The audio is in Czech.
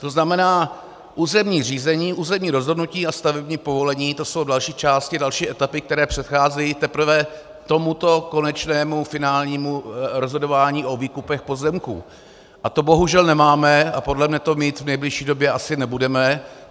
To znamená, územní řízení, územní rozhodnutí a stavební povolení, to jsou další části, další etapy, které předcházejí teprve tomuto konečnému, finálnímu rozhodování o výkupech pozemků, a to bohužel nemáme a podle mne to mít v nejbližší době asi nebudeme.